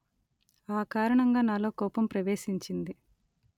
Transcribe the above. ఆ కారణంగా నాలో కోపం ప్రవేశించింది